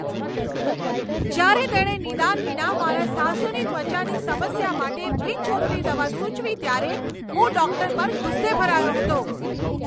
જ્યારે તેણે નિદાન વિના મારાં સાસુની ત્વચાની સમસ્યા માટે બિનજરૂરી દવા સૂચવી ત્યારે, હું ડૉક્ટર પર ગુસ્સે ભરાયો હતો.